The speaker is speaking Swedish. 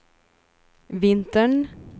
vintern